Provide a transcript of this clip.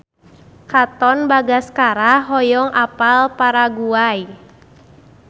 Katon Bagaskara hoyong apal Paraguay